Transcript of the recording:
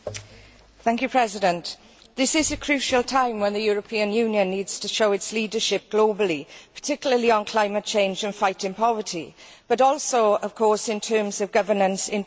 Mr President, this is a crucial time, at which the European Union needs to show its leadership globally, particularly on climate change and fighting poverty, but also in terms of governance, internally.